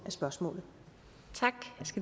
spørgsmål